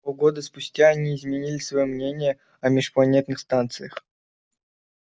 полгода спустя они изменили своё мнение о межпланетных станциях